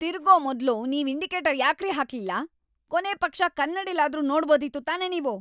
ತಿರ್ಗೋ ಮೊದ್ಲು ನೀವ್ ಇಂಡಿಕೇಟರ್ ಯಾಕ್ರೀ ಹಾಕ್ಲಿಲ್ಲ? ಕೊನೇಪಕ್ಷ ಕನ್ನಡಿಲಾದ್ರೂ ನೋಡ್ಬೋದಿತ್ತು ತಾನೇ ನೀವು.